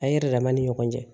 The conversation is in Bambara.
An ye yɛrɛ dama ni ɲɔgɔn cɛ